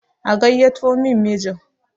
a gaiyyato min mijin!